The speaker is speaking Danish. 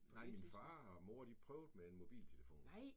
Nej min far og mor de prøvede med en mobiltelefon